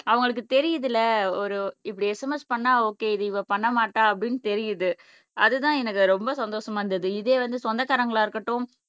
அவங்களுக்கு தெரியுதுல ஒரு இப்படி SMS பண்ணா ஓகே இது இவ பண்ண மாட்ட அப்படின்னு தெரியுது அதுதான் எனக்கு ரொம்ப சந்தோஷமா இருந்தது இதே வந்து சொந்தக்காரங்களா இருக்கட்டும்